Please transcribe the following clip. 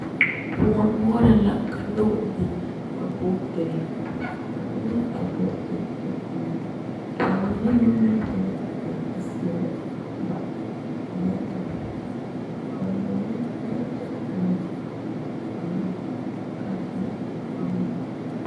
Kõɔ noɔre la ka noba biŋ ba bogitire ba biŋ la a bogitire kyɛ koli bamine meŋ naŋ be a be a seɛre ba netire bamine netire e la buluu ka mine e garri.